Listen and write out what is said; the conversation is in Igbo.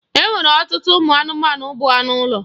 E nwere ọtụtụ ụmụ anụmanụ bụ anụ ụlọ.